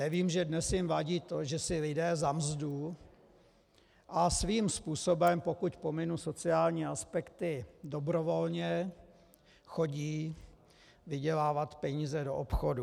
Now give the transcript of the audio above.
Nevím, že dnes jim vadí, že si lidé za mzdu a svým způsobem, pokud pominu sociální aspekty, dobrovolně chodí vydělávat peníze do obchodů.